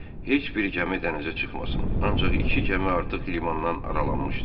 Heç bir gəmi dənizə çıxmasın, ancaq iki gəmi artıq limandan aralanmışdı.